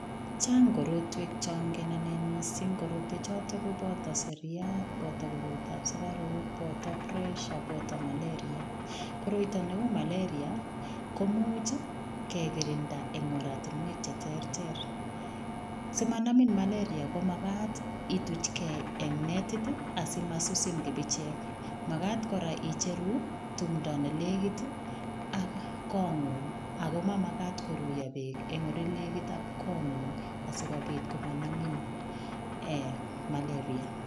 Chang korotwek changen anne mising, korotwechoto koboto seliat, boto koroitab sugaruk, boto presha, boto maleria. Koroito neu malaria komuch kegirinda eng oratinwek che terter. Simanamin maleria, komagat ituch ke eng netit asimasusin kipichek. Magat kora icheru tumndo ne legit ak kongong ago mamagat kuruiyo beek eng olenegit ak kongongung asigopit komanamin ee maleria.